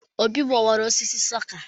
Obi gbawara osisi snooker